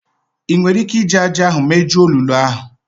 Ị nwere ike iji ájá ahụ mejuo olulu ahụ?